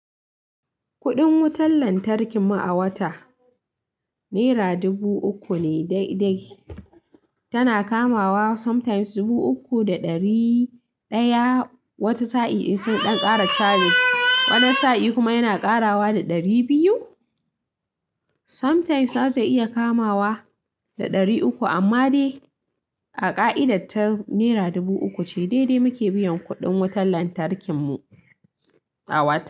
Kuɗin wutar lantarki mu a wata nera dubu uku ne daidai. Tana kamawa sometimes dubu uku da ɗari ɗaya, wata sa'in in sai ɗan ƙara charges. Wani sa'i kuma yana ƙarawa da ɗari biyu. Sometimes zai iya kamawa da ɗari uku, amma dai a ƙa'idar ta nera dubu uku ce daidai muke biyan kuɗin wutar lantarki mu a wata.